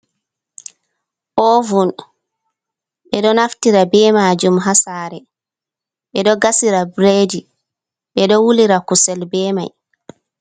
Ovun ɓe ɗo naftira be majum ha sare ɓe ɗo gasira bredi, ɓe ɗo wulira kusel be mai.